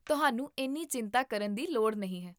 ਤੁਹਾਨੂੰ ਇੰਨੀ ਚਿੰਤਾ ਕਰਨ ਦੀ ਲੋੜ ਨਹੀਂ ਹੈ!